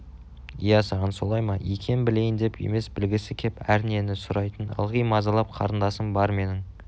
иә саған солай ма екен білейіндеп емес білгісі кеп әрнені сұрай-тын ылғи мазалап қарындасым бар менің